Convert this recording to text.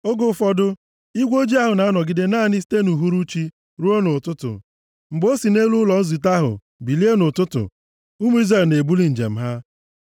Oge ụfọdụ, igwe ojii ahụ na-anọgide naanị site nʼuhuruchi ruo nʼụtụtụ. Mgbe o si nʼelu ụlọ nzute ahụ bilie nʼụtụtụ, ụmụ Izrel na-ebuli njem ha. Ọ bụrụ nʼehihie, maọbụ nʼabalị, mgbe ọbụla igwe ojii ahụ biliri, ụmụ Izrel na-ebuli njem ha.